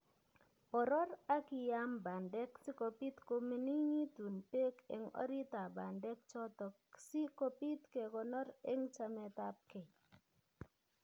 boror ak iyaam bandek si kobiit koming'initun peek eng' oritap bandek chotok si kobiit kekonor eng' chametapkei